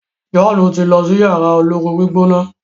John ti n ló sí Yàrá olóoru-gbígbóná.